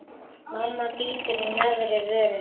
Mamma bítur í neðri vörina.